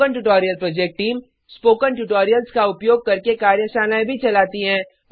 spoken tutorial project team spoken tutorials का उपयोग करके कार्यशालाएं चलाती है